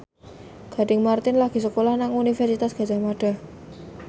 Gading Marten lagi sekolah nang Universitas Gadjah Mada